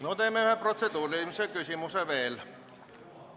No teeme ühe protseduurilise küsimuse veel.